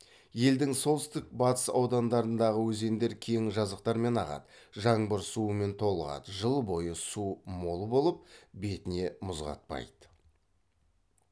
елдің солтүстік батыс аудандарындағы өзендер кең жазықтармен ағады жаңбыр суымен толығады жыл бойы суы мол болып бетіне мұз қатпайды